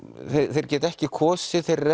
þeir geta ekki kosið þeir